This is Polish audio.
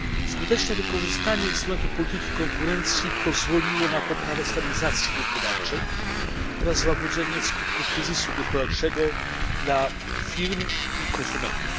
Skuteczne wykorzystanie instrumentu polityki konkurencji pozwoliło na poprawę stabilizacji gospodarczej oraz złagodzenie skutków kryzysu gospodarczego dla firm i konsumentów.